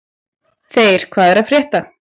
Þeyr, hvað er að frétta?